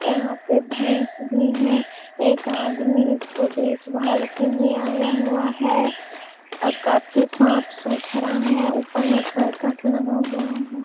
यहाँ पे भैस भी है। एक आदमी उसके देखभाल के लिए आया हुआ है और काफी साफ-सुथरा है। ऊपर में करकट लगा हुआ है।